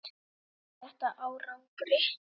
En skilar þetta árangri?